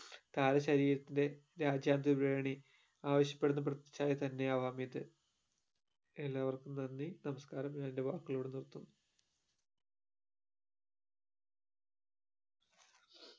കാല ശരീരത്തിന്റെ രാജ്യാന്തര ത്രിവേണി ആവിശ്യ പെടുന്ന പ്രതിച്ഛായ തന്നെയാവാം ഇത് എല്ലാവർക്കും നന്ദി നമസ്‍കാരം ഞാൻ ന്റെ വാക്കുകൾ ഇവിടെ നിർത്തുന്നു